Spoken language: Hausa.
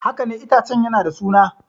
Haka ne, itacen yana da suna.